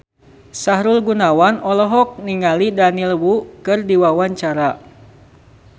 Sahrul Gunawan olohok ningali Daniel Wu keur diwawancara